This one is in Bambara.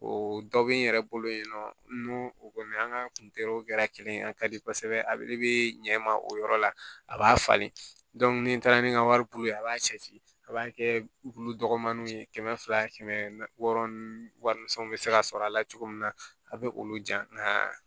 O dɔ bɛ n yɛrɛ bolo yen nɔ n'o kɔni an ka kuntera kelen ye a ka di kosɛbɛ a bɛ ɲɛ ma o yɔrɔ la a b'a falen ni n taara ni n ka waribulu ye a b'a cɛ ci a b'a kɛ wulu dɔgɔninw ye kɛmɛ fila kɛmɛ wɔɔrɔ warimisɛnw bɛ se ka sɔrɔ a la cogo min na a bɛ olu ja n'aa